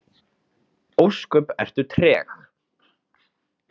Ósköp ertu treg.